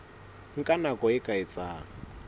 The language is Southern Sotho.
nka nako e ka etsang